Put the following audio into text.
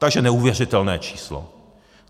Takže neuvěřitelné číslo.